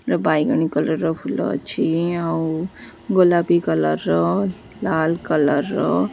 ବାଇଗଣି colour ଫୁଲ ଅଛି ଆଉ ଗୋଲାପି କଲର୍ ର ଲାଲ୍ କଲର୍ ର।